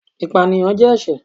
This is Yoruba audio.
ìpáníyán jẹ ẹṣẹ